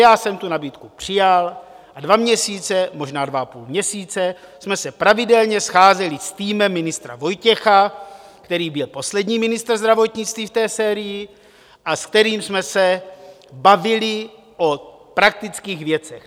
Já jsem tu nabídku přijal a dva měsíce, možná dva a půl měsíce jsme se pravidelně scházeli s týmem ministra Vojtěcha, který byl poslední ministr zdravotnictví v té sérii, s kterým jsme se bavili o praktických věcech.